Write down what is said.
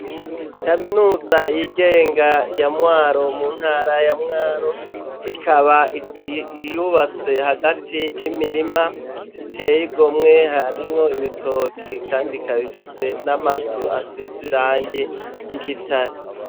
Kaminuza y'igenga ya Mwaro mu ntara ya Mwaro ikaba iyubatse hagati y'imirima iteye igomwe harimwo ibitoki kandi ikaba ifise n'amazu asiz'irangi ry'igitare.